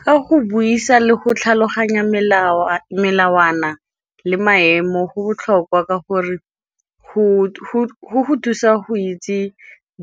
Ka go buisa le go tlhaloganya melawana le maemo go botlhokwa ka gore go go thusa go itse